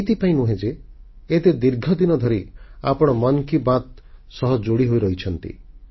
ଏଥିପାଇଁ ନୁହେଁ ଯେ ଏତେ ଦୀର୍ଘଦିନ ଧରି ଆପଣ ମନ୍ କି ବାତ୍ ସହ ଯୋଡ଼ି ହୋଇରହିଛନ୍ତି